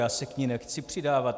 Já se k ní nechci přidávat.